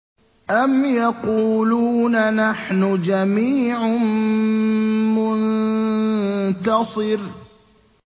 أَمْ يَقُولُونَ نَحْنُ جَمِيعٌ مُّنتَصِرٌ